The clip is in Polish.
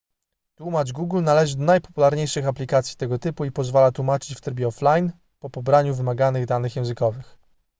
tłumacz google należy do najpopularniejszych aplikacji tego typu i pozwala tłumaczyć w trybie offline po pobraniu wymaganych danych językowych